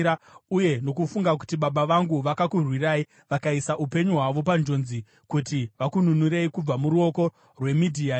uye nokufunga kuti baba vangu vakakurwirai, vakaisa upenyu hwavo panjodzi kuti vakununurei kubva muruoko rweMidhiani